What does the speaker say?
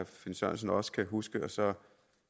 finn sørensen også kan huske og så